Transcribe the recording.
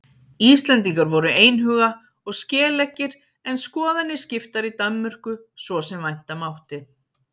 Íslendingar voru einhuga og skeleggir en skoðanir skiptar í Danmörku svo sem vænta mátti.